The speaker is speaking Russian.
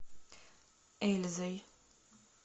эльзой